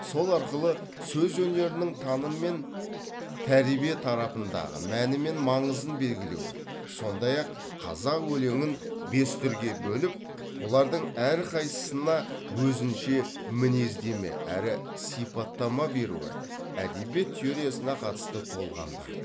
сол арқылы сөз өнерінің таным мен тәрбие тарапындағы мәні мен маңызын белгілеуі сондай ақ қазақ өлеңін бес түрге бөліп бұлардың әрқайсысына өзінше мінездеме әрі сипаттама беруі әдебиет теориясына қатысты толғамдар